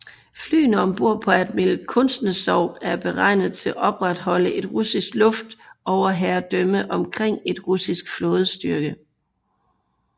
Flyene om bord på Admiral Kuznetsov er beregnet til at opretholde et russisk luftoverherredømme omkring en russisk flådestyrke